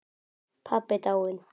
Pabbi dáinn.